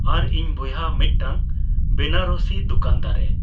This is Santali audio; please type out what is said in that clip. ᱟᱨ ᱤᱧᱵᱚᱭᱦᱟ ᱢᱤᱫ ᱴᱟᱝ ᱵᱮᱱᱟᱨᱚᱥᱤ ᱫᱚᱠᱟᱱᱫᱟᱨᱮ